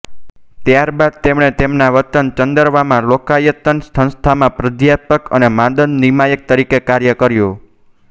ત્યારબાદ તેમણે તેમના વતન ચંદરવામાં લોકાયતન સંસ્થામાં પ્રાધ્યાપક અને માનદ્ નિયામક તરીકે કાર્ય કર્યું